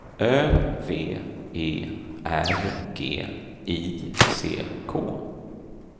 Ö V E R G I C K